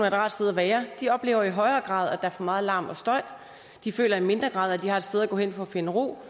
et rart sted at være oplever i højere grad at der er for meget larm og støj de føler i mindre grad at de har et sted at gå hen for at finde ro